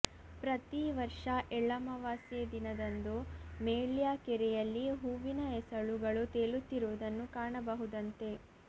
ಪ್ರತೀ ವರ್ಷ ಎಳ್ಳಮವಾಸ್ಯೆ ದಿನದಂದು ಮೇಳ್ಯ ಕೆರೆಯಲ್ಲಿ ಹೂವಿನ ಎಸಳುಗಳು ತೇಲುತ್ತಿರುವುದನ್ನು ಕಾಣಬಹುದಂತೆ